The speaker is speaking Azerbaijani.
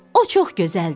O çox gözəldir.